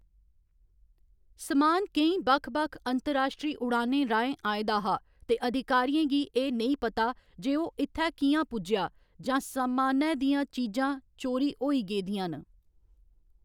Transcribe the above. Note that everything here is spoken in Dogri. समान केईं बक्ख बक्ख अंतर्राश्ट्री उड़ानें राहें आए दा हा ते अधिकारियें गी एह् नेईं पता जे ओह्‌‌ इत्थै कि'यां पुज्जेआ जां समानै दियां चीजां चोरी होई गेदियां न।